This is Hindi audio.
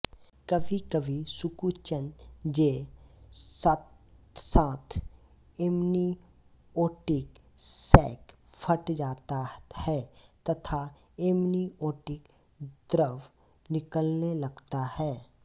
कभीकभी सुकुचन जे साथसाथ एमनीओटिक सैक फट जाता है तथा एमनीओटिक द्रव निकलने लगता है